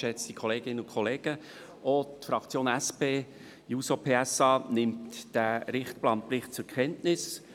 Auch die SP-JUSO-PSA-Fraktion nimmt diesen Raumplanungsbericht zur Kenntnis.